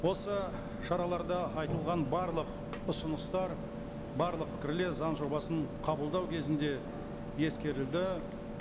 осы шараларда айтылған барлық ұсыныстар барлық пікірлер заң жобасын қабылдау кезінде ескерілді